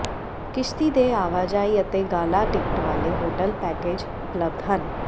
ਕਿਸ਼ਤੀ ਦੇ ਆਵਾਜਾਈ ਅਤੇ ਗਾਲਾ ਟਿਕਟ ਵਾਲੇ ਹੋਟਲ ਪੈਕੇਜ ਉਪਲਬਧ ਹਨ